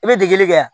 I bɛ dingɛ kɛ yan